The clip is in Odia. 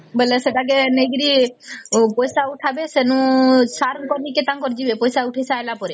ବେଳେ ସେଟକୁ ନେଇକିରି କି ପଇସା ଉଠାବେ ସେଇନୁ ସାର କଣୀକି ତାଙ୍କର ଯିବେ ସେ ପଇସା ଉଠା ସରିଲା ପରେ